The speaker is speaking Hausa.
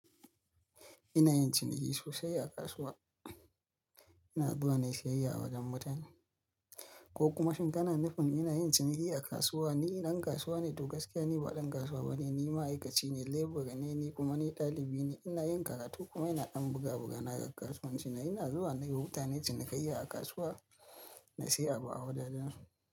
Ina yin ciniki sosai a kasuwa. Ina zuwa nayi siyayya a wajen mutane, ko kuma shin kana nufin ina yin ciniki a kasuwa? Ni idan kasuwa ne, to gaskiya ni ba ɗan kasuwa bane. Ni ma'aikaci ne, lebura ne ni kuma ni ɗalibi ne, ina yin karatu kuma ina ɗan buga buga na ga kasuwanci na. Ina zuwa nayi wuta nayi cinikayya a kasuwa, na siya abu a wajajan su.